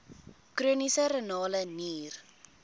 chroniese renale nier